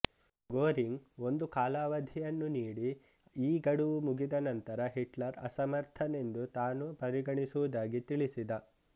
Goering ಒಂದು ಕಾಲಾವಧಿಯನ್ನು ನೀಡಿ ಈ ಗಡುವು ಮುಗಿದ ನಂತರ ಹಿಟ್ಲರ್ ಅಸಮರ್ಥನೆಂದು ತಾನು ಪರಿಗಣಿಸುವುದಾಗಿ ತಿಳಿಸಿದ